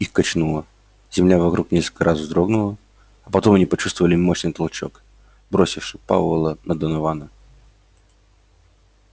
их качнуло земля вокруг несколько раз вздрогнула а потом они почувствовали мощный толчок бросивший пауэлла на донована